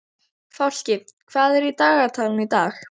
Fálki, hvað er í dagatalinu í dag?